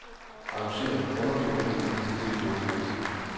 Arrangér underdokumenter til dette dokument.